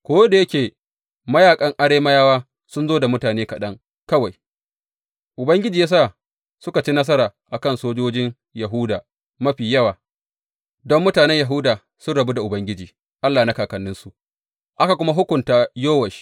Ko da yake mayaƙan Arameyawa sun zo da mutane kaɗan kawai, Ubangiji ya sa suka ci nasara a kan sojojin Yahuda mafi yawa, don mutanen Yahuda sun rabu da Ubangiji Allah na kakanninsu, aka kuma hukunta Yowash.